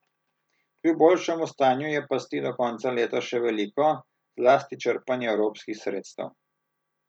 Kljub boljšemu stanju je pasti do konca leta še veliko, zlasti črpanje evropskih sredstev.